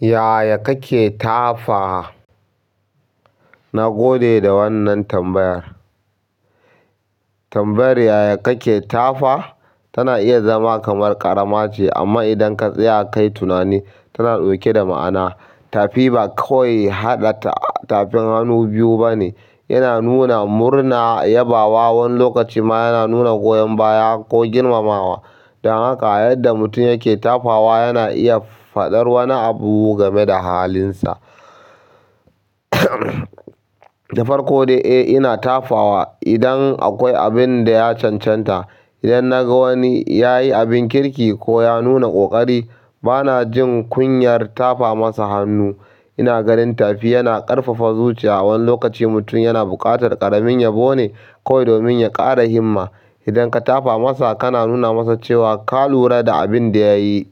Yaya kake tafa? Na gode da wannan tambayar. Tambayar yaya kake tafa tana iya zama kamar ƙarama ce amma idan ka tsaya kai tunani, tana ɗauke da ma'ana. Tafi ba kawai haɗa tafin hannu biyu ba ne. Yana nuna murna, yabawa, wani lokaci ma yana nuna goyon baya ko girmamawa. Don haka yadda mutum yake tafawa yana iya faɗar wani abu game da halinsa. Dafar kode, eh ina tafa wa idan akwai abin da ya cancanta. Idan na ga wani ya yi abin kirki ko ya nuna ƙoƙari, bana jin kunyar tafa masa hannu. Ina ganin tafi yana ƙarfafa zuciya wani lokaci mutum yana buƙatar ƙaramin yabone kawai domin ya ƙara himma. Idan ka tafa masa, kana nuna masa cewa ka lura da abin da ya yi.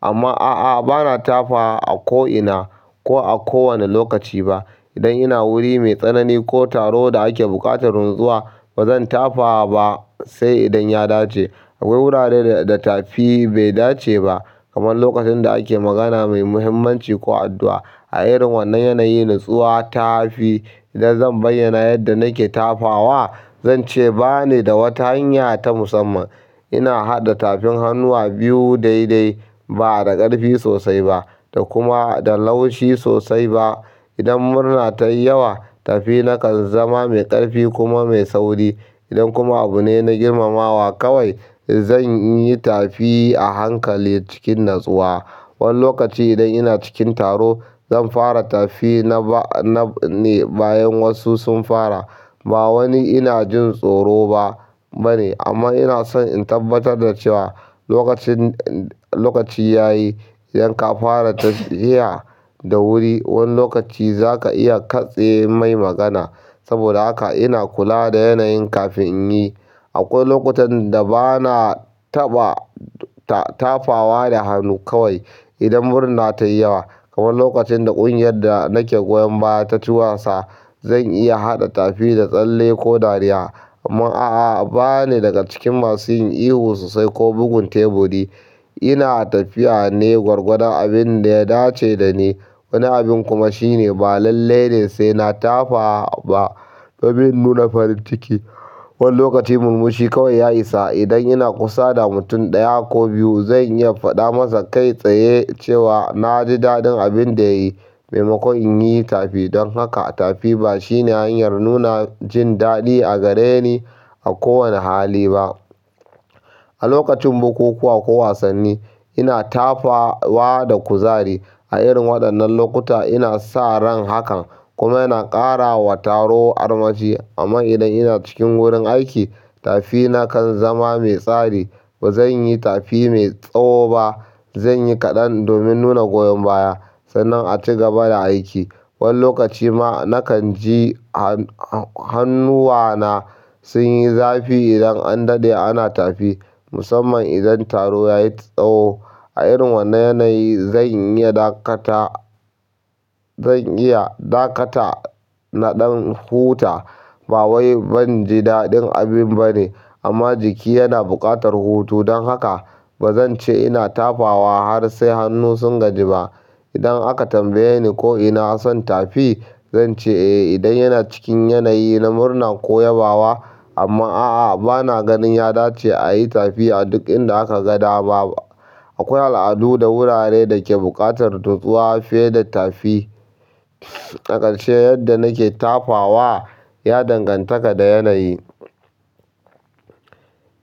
Amma a'a, bana tafa wa a ko ina ko a kowane lokaci ba. Idan ina wuri mai tsanani ko taro da ake buƙatar natsuwa, bazan tafa ba sai idan ya dace. Akwai wurare da tafi bai dace ba kamar lokacin da ake magana mai muhimmanci ko addu'a. A irin wannan yanayi, natsuwa tafi. Idan zan bayyana yadda nake tafawa, zan ce ba ni da wata hanya ta musamman. Ina haɗa tafin hannuwa biyu daidai, ba da ƙarfi sosai ba da kuma da laushi sosai ba. Idan murna ta yi yawa, tafina kan zama mai ƙarfi kuma mai sauri. Idan kuma abu ne na girmamawa kawai, zan yi tafi a hankali cikin natsuwa. Wani lokaci idan ina cikin taro, zan fara tafi na ba-- na ne bayan wasu sun fara. Ba wani ina jin tsoro ba bane amma ina son in tabbatar da cewa lokacin, lokaci ya yi. Idan ka fara tafiya da wuri, wani lokaci za ka iya katse mai magana. Saboda haka ina kula da yanayin kafin in yi. Akwai lokutan da bana taɓa tafawa da hannu kawai idan murna ta yi yawa kamar lokacin da ƙungiyar da nake goyon baya ta ci wasa. Zan iya haɗa tafi da tsalle ko dariya. Amma a'a, ba ni daga cikin masu yin ihu sosai ko bugun taburi. Ina tafiya ne gwargwadon abin da ya dace da ni. Wani abin kuma shine ba lalle ne sai na tafa ba domin in nuna farin ciki. Wani lokaci murmushi kawai ya isa. Idan ina kusa da mutum ɗaya ko biyu, zan iya faɗa masa kai tsaye cewa na ji daɗin abin da ya yi maimakon in yi tafi. Don haka tafi ba shine hanyar nuna jin daɗi a gare ni a kowane hali ba. A lokacin bukukuwa ko wasanni, ina tafawa da kuzari. A irin waɗannan lokuta ina sa ran hakan kuma yana ƙara wa taro armashi. Amma idan ina cikin wurin aiki, tafina kan zama mai tsari. Ba zan yi tafi mai tsawo ba. Zan yi kaɗan domin nuna goyon baya sannan a ci gaba da aiki. Wani lokaci ma nakan ji hannuwana sun yi zafi idan an daɗe ana tafi, musamman idan taro ya yi tsawo. A irin wannan yanayi zan iya dakata, zan iya dakata naɗan huta. Ba wai ban ji daɗin abin ba ne amma jiki yana buƙatar hutu. Don haka bazan ce ina tafawa har sai hannu sun gaji ba. Idan aka tambaye ni ko ina son tafi, zan ce eh idan yana cikin yanayi na murna ko yabawa. Amma a'a, bana ganin ya dace a yi tafi a duk inda aka ga dama ba. Akwai al'adu da wurare da ke buƙatar natsuwa fiye da tafi. Ƙarshe yadda nake tafawa ya danganta ka da yanayi.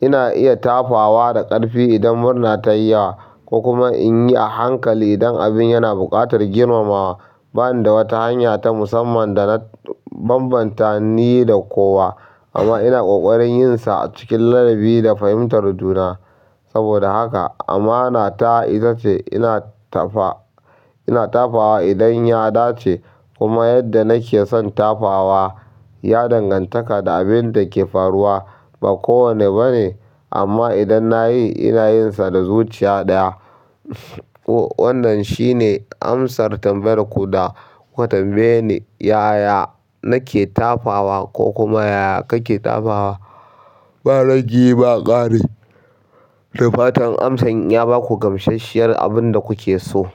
Ina iya tafawa da ƙarfi idan murna tayi yawa kokuma inyi a hankali dan mutum ya na buƙatar girma mawa ba ni da wata hanya ta musamman da na bambanta ni da kowa amma ina ƙoƙarin yin sa a cikin ladabi da fahimtar juna. Saboda haka amana ta ita ce ina tafa, ina tafawa idan ya dace kuma yadda nake son tafawa ya danganta da abin da ke faruwa. Ba kowane ba ne amma idan na yi, ina yin sa da zuciya ɗaya. Wannan shi ne amsar tambayar ku da kuka tambaye ni, "Yaya nake tafawa?" ko kuma, "Yaya kake tafawa?" ba ragi ba ƙari. Dafatan amsan ya ba ku gamsasshiyar abin da kuke so.